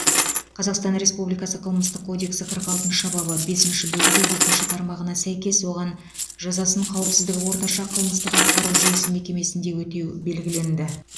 қазақстан республикасы қылмыстық кодексі қырық алтыншы бабы бесінші бөлігі екінші тармағына сәйкес оған жазасын қауіпсіздігі орташа қылмыстық атқару жүйесі мекемесінде өтеу белгіленді